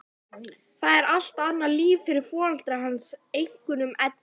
Það er allt annað líf fyrir foreldra hans, einkum Eddu.